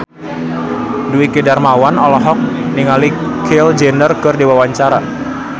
Dwiki Darmawan olohok ningali Kylie Jenner keur diwawancara